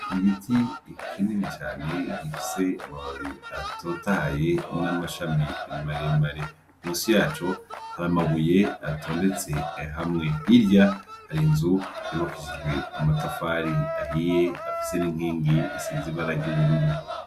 Igiti kinini cane gifise amababi atotahaye n’amashami maremare, musi yaco har’amabuye atondetse hamwe, hirya harinzu yubakishijwe amatafari ahiye afise n’inkingi zisize ibara ry’ubururu.